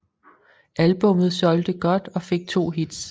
Albummet solgte godt og fik to hits